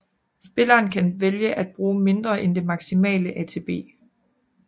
Spilleren kan vælge at bruge mindre end det maximale ATB